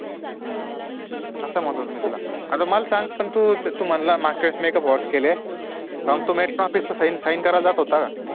असं म्हणतात होतो मी तुला मला एक सांग तू म्हटलं मागच्या वेळेस Makeup hours केले अन तू Mattern office ला Sign करायला जात होता का